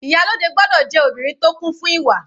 Ìyálòde gbọ́dọ̀ jẹ́ obìnrin tó kún fún ìwà.